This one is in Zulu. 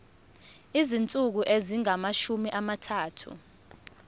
izinsuku ezingamashumi amathathu